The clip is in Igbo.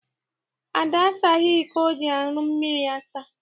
Ada asaghị iko o ji aṅụ mmiri asa.